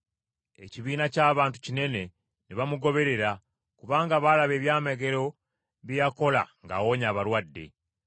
Ekibiina ky’abantu kinene ne bamugoberera, kubanga baalaba ebyamagero bye yakola ng’awonya abalwadde.